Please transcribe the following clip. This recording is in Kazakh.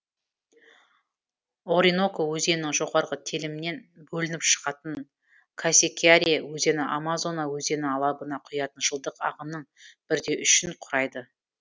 ориноко өзенінің жоғарғы телімінен бөлініп шығатын касикьяре өзені амазона өзені алабына құятын жылдық ағынның бір де үшін құрайды